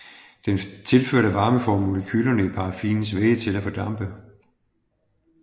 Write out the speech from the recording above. Den tilførte varme får molekylerne i paraffinets væge til at fordampe